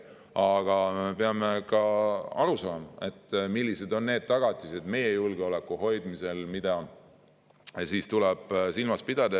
Aga peame ka aru saama, millised on need tagatised meie julgeoleku hoidmisel, mida tuleb silmas pidada.